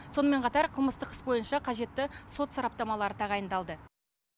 сонымен қатар қылмыстық іс бойынша қажетті сот сараптамалары тағайындалды